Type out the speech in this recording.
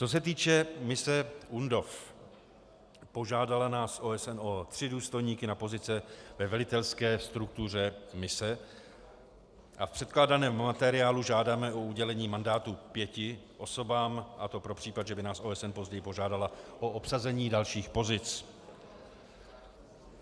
Co se týče mise UNDOF, požádala nás OSN o tři důstojníky na pozice ve velitelské struktuře mise a v předkládaném materiálu žádáme o udělení mandátu pěti osobám, a to pro případ, že by nás OSN později požádala o obsazení dalších pozic.